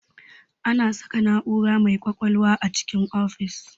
Ana saka na'ura mai ƙwaƙwalwa a cikin ofis